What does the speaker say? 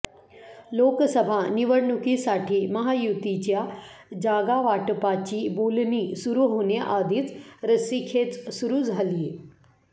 लोकसभा निवडणुकीसाठी महायुतीच्या जागावाटपाची बोलणी सुरु होण्याआधीच रस्सीखेच सुरू झालीय